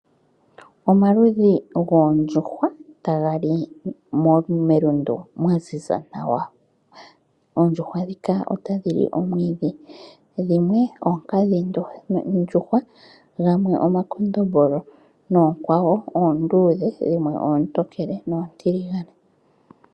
Omaludhi goondjuhwa taga li melundu mwaziza nawa. Oondjuhwa ndhika otadhi li omwiidhi dhimwe oonkadhi ndjuhwa gamwe omakondombolo noonkwawo oondudhe dhimwe oontokele noontiligane.